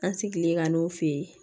An sigilen ka n'o fɛ yen